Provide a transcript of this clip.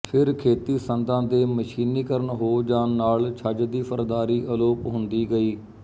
ਫਿਰ ਖੇਤੀ ਸੰਦਾਂ ਦੇ ਮਸ਼ੀਨੀ ਕਰਨ ਹੋ ਜਾਣ ਨਾਲ ਛੱਜ ਦੀ ਸਰਦਾਰੀ ਅਲੋਪ ਹੁੰਦੀ ਗਈ